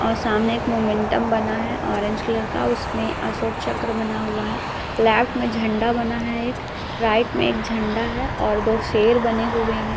और सामने एक मोमेंटम बना है ऑरेंज कलर का उसमें अशोक चक्र बना हुआ है लेफ्ट में झंडा बना है एक राइट में एक झंडा है और दो शेर बने हुए हैं।